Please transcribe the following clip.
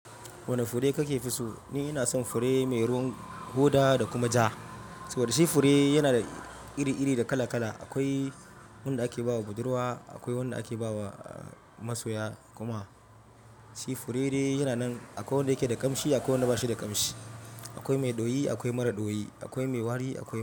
Wane fure kake fi so? Ni ina son fure mai ruwan hoda da kuma ja. Saboda shi fure yana da iri-iri da kala-kala. Akwai wanda ake ba budurwa, akwai wanda ake ba wa masoya kuma shi fure dai yana nan. Akwai wanda yake da kamshi akwai wanda ba shi da kamshi, akwai mai ɗoyi akwai mara ɗoyi, akwai mai wari akwai.